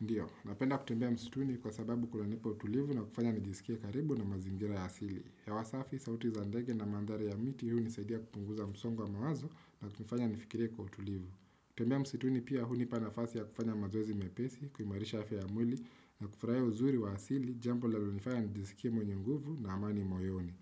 Ndio, napenda kutembea msituni kwa sababu kunanipa utulivu na kufanya nijisikie karibu na mazingira ya asili. Hewa safi, sauti za ndege na mandhari ya miti hu unisaidia kupunguza msongo wa mawazo na kunifanya nifikire kwa utulivu. Kutembea msituni pia hunipa na fasi ya kufanya mazoezi mepesi, kuimarisha afya ya mwili na kufurahia uzuri wa asili, jambo linalonifanya nijisikie mwenye nguvu na amani moyoni.